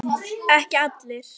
Ekki allir.